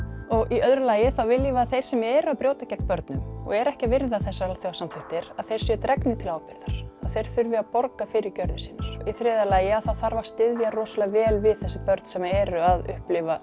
í öðru lagi viljum við að þeir sem eru að brjóta gegn börnum og eru ekki að virða þessar alþjóðasamþykktir séu dregnir til ábyrgðar og þurfi að borga fyrir gjörðir sínar í þriðja lagi þarf að styðja rosalega vel við þessi börn sem eru að upplifa